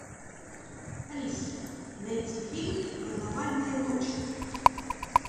алиса найти фильм карнавальная ночь